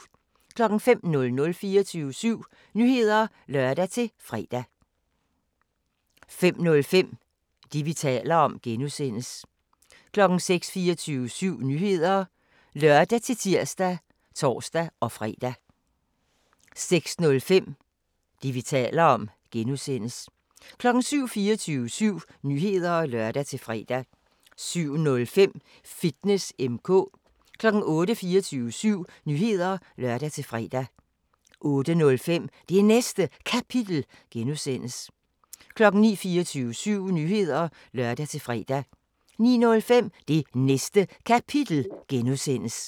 05:00: 24syv Nyheder (lør-fre) 05:05: Det, vi taler om (G) 06:00: 24syv Nyheder (lør-tir og tor-fre) 06:05: Det, vi taler om (G) 07:00: 24syv Nyheder (lør-fre) 07:05: Fitness M/K 08:00: 24syv Nyheder (lør-fre) 08:05: Det Næste Kapitel (G) 09:00: 24syv Nyheder (lør-fre) 09:05: Det Næste Kapitel (G)